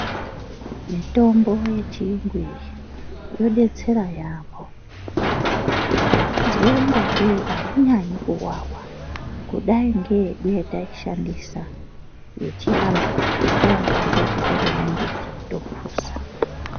Mitombo yechiyungu iyi inodetsera yaamho. Ndakazwe ingatei ainyanyi kuwawa kudai ngeyedu yataishandisa yechiantu yataingoambe ngekutore mimbiti topuza.